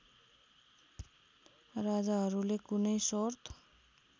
राजाहरूले कुनै सर्त